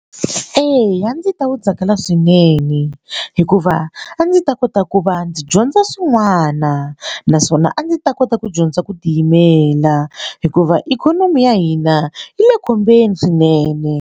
Eya a ndzi ta wu tsakela swinene hikuva a ndzi ta kota ku va ndzi dyondza swin'wana naswona a ndzi ta kota ku dyondza ku tiyimela hikuva ikhonomi ya hina yi le khombyeni swinene.